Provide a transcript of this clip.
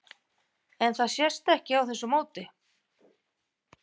En það sést ekki á þessu móti?